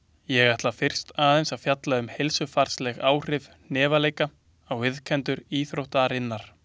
Ég ætla fyrst aðeins að fjalla um heilsufarsleg áhrif hnefaleika á iðkendur íþróttarinnar.